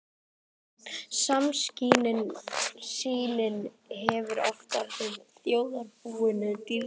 Skammsýnin hefur oft orðið þjóðarbúinu dýrkeypt.